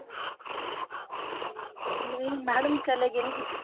ਨਹੀਂ madam ਚਲੇ ਗਏ ਨੀ